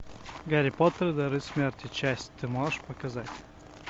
гарри поттер и дары смерти часть ты можешь показать